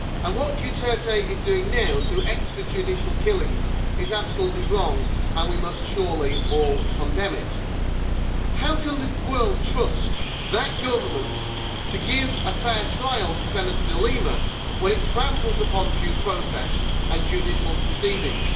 What Duterte is doing now, through extrajudicial killings, is absolutely wrong, and we must surely all condemn it. How can the world trust that government to give a fair trial to Senator De Lima when it tramples upon due process and judicial proceedings?